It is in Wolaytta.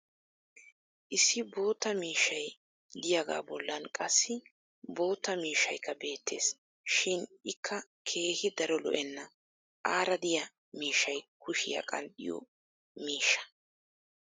Issi bootta miishshay diyaagaa bollan qassi bootta mishshaykka beettees. Shin ikka keehi daro lo'enna. Aara diya miishshay kushiya qanxxiyo miishshaa.